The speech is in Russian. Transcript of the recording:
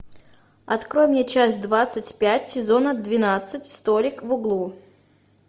открой мне часть двадцать пять сезона двенадцать столик в углу